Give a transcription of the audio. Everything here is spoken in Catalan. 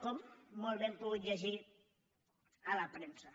com molt bé hem pogut llegir a la premsa